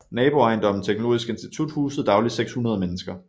Naboejendommen Teknologisk Institut husede daglig 600 mennesker